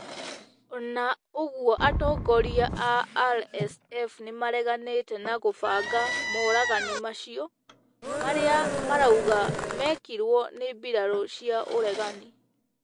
Ona ũgũo atongoria a RSF nimariganite na gũbanga moragani macio, maria marauga mekirwo ni mbirarũ cia ũregani.